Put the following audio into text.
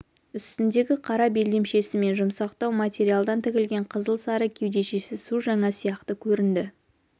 үстіндегі қара белдемшесі мен жұмсақтау материалдан тігілген қызыл-сары кеудешесі су жаңа сияқты көрінді